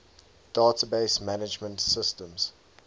database management systems